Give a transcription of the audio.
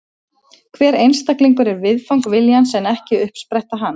Hver einstaklingur er viðfang viljans en ekki uppspretta hans.